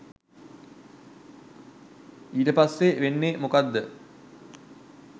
ඊට පස්සෙ වෙන්නෙ මොකක්ද